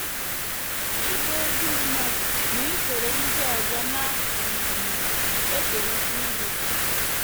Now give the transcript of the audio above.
“ Ịbụ ezi mmadụ na isoro ndị ọzọ na um - ekerịta ihe. ”